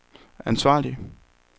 ansvarlig